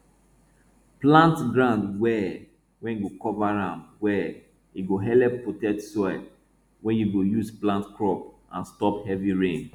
plant ground well wey go cover am well e go helep protect soil wey you go use plant crop and stop heavy rain